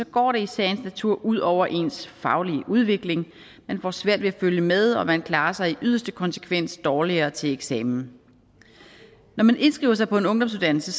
går det i sagens natur ud over ens faglige udvikling man får svært ved at følge med og man klarer sig i yderste konsekvens dårligere til eksamen når man indskriver sig på en ungdomsuddannelse